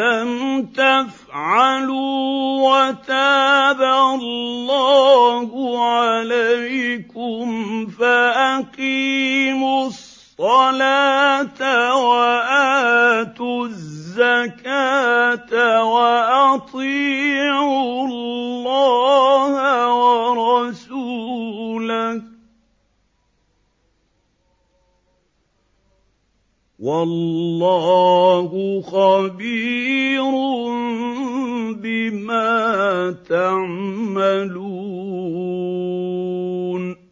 لَمْ تَفْعَلُوا وَتَابَ اللَّهُ عَلَيْكُمْ فَأَقِيمُوا الصَّلَاةَ وَآتُوا الزَّكَاةَ وَأَطِيعُوا اللَّهَ وَرَسُولَهُ ۚ وَاللَّهُ خَبِيرٌ بِمَا تَعْمَلُونَ